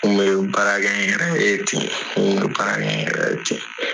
kun bɛ baarakɛ n yɛrɛ ye ten n kun bɛ baara kɛ n yɛrɛ ten.